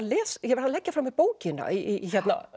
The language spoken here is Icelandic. ég varð að leggja frá mér bókina í